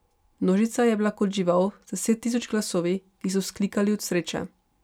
Množica je bila kot žival z deset tisoč glasovi, ki so vzklikali od sreče.